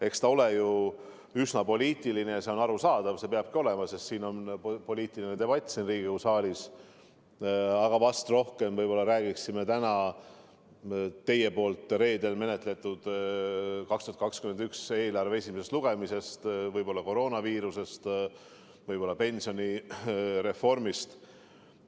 Eks ta ole ju üsna poliitiline teema – ja see on arusaadav, nii peabki olema, sest siin Riigikogu saalis käibki poliitiline debatt –, aga vast räägiksime sel juhul täna rohkem 2021. aasta eelarve menetlusest ja selle esimesest lugemisest, võib-olla koroonaviirusest, võib-olla pensionireformist.